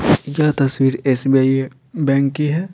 यह तस्वीर SBI bank की है।